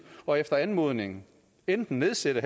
og efter anmodning enten nedsætte